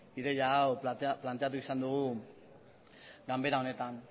ideia hau planteatu izan dugu ganbera honetan